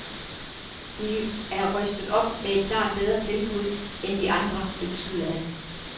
De er rystet op med et klart bedre tilbud end de andre, indskyder han.